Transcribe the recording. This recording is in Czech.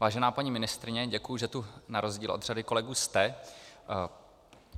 Vážená paní ministryně, děkuji, že tu na rozdíl od řady kolegů jste.